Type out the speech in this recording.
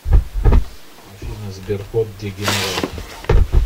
афина сберкот дегенерат